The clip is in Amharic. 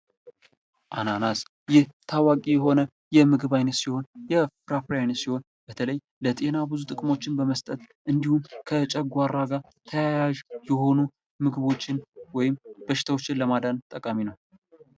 አናናስ ይህ በጣም ታዋቂ የሆነ የምግብ አይነት ሲሆን የፍራፍሬ አይነት ሲሆን በተለይ ለጤና ብዙ ጥቅሞችን በመስጠትፅጅ እንዲሁም ከጨጓራ ጋር ተያያዥ የሆኑ ምግቦችን ወይም በሽታዎችን ለማዳን ጠቃሚ ነው።